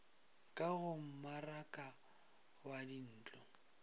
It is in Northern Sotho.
ka go mmaraka wa dintlo